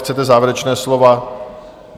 Chcete závěrečná slova?